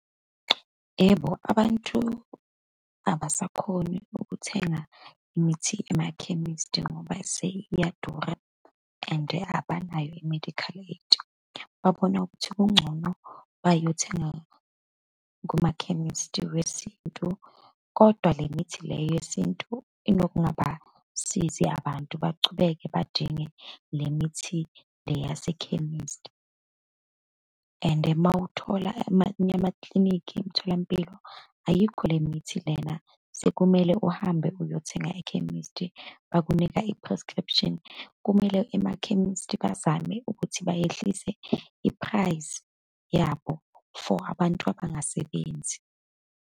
Yebo, abantu abasakhoni ukuthenga imithi emakhemisti, njengoba seyiyadura and abanayo i-medical aid. Babona ukuthi kungcono bayothenga kumakhemisti wesintu. Kodwa le mithi le yesintu inokungabasizi abantu, bachubeke badinge le mithi le yase khemisti and uma uthola amanye amaklinikhi, emtholampilo, ayikho le mithi lena, sekumele uhambe uyothenga ekhemesti, bakunika i-prescription. Kumele emakhemisti bazame ukuthi bayehlise i-price yabo for abantu abangasebenzi.